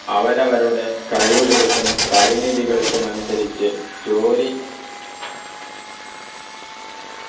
അവരവരുടെ കഴിവുകൾക്കും പരിമിധികൾക്കും അനുസരിച്ച് ജോലി